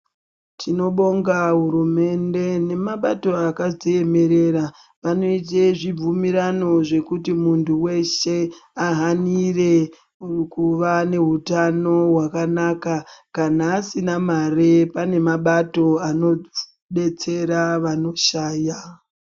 Tinobonga hurumende nemabato akadziemerera vanoite zvibvumirano zvekuti muntu weshe ahanire kuva nehutano hwakanaka. Kana asina mare pane mabato anodetsera vanoshaya.